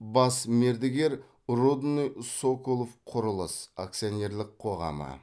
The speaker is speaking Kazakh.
бас мердігер рудныйсоколовқұрылыс акционерлік қоғамы